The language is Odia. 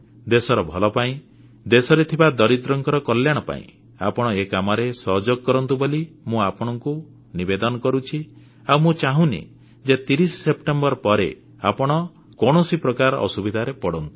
ଦେଶର ଭଲ ପାଇଁ ଦେଶରେ ଥିବା ଦରିଦ୍ରଙ୍କ କଲ୍ୟାଣ ପାଇଁ ଆପଣ ଏ କାମରେ ସହଯୋଗ କରନ୍ତୁ ବୋଲି ମୁଁ ଆପଣମାନଙ୍କୁ ନିବେଦନ କରୁଛି ଆଉ ମୁଁ ଚାହୁଁନି ଯେ 30 ସେପ୍ଟେମ୍ବର ପରେ ଆପଣ କୌଣସି ପ୍ରକାର ଅସୁବିଧାରେ ପଡ଼ନ୍ତୁ